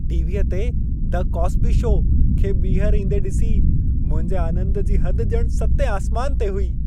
टीवीअ ते "the Cosby show" खे ॿीहर ईंदे ॾिसी मुंहिजे आनंद जी हद ॼणु सतें आसमान ते हुई।